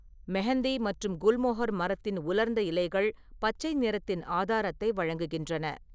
மெஹந்தி மற்றும் குல்மோகூர் மரத்தின் உலர்ந்த இலைகள் பச்சை நிறத்தின் ஆதாரத்தை வழங்குகின்றன.